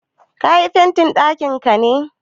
Ka yi fentin ɗakinka ne?